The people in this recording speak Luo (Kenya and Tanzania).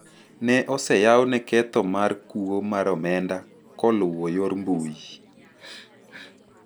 ne oseyawne ketho maer kuo mar omenda koluwo yor mbui,